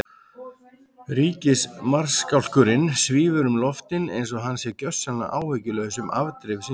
Ríkismarskálkurinn svífur um loftin einsog hann sé gjörsamlega áhyggjulaus um afdrif sín.